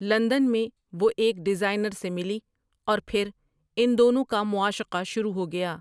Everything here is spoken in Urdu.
لندن میں وہ ایک ڈیزائینر سے ملی اور پھر ان دونوں کا معاشقہ شروع ہو گیا۔